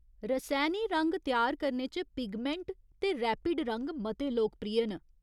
रसैनी रंग त्यार करने च पिगमैंट ते रैपिड रंग मते लोकप्रिय न।